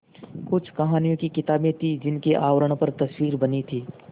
कुछ कहानियों की किताबें थीं जिनके आवरण पर तस्वीरें बनी थीं